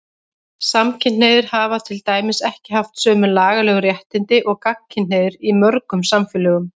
Samkynhneigðir hafa til dæmis ekki haft sömu lagalegu réttindi og gagnkynhneigðir í mörgum samfélögum.